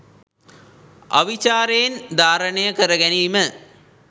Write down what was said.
අවිචාරයෙන් ධාරණය කර ගැනීම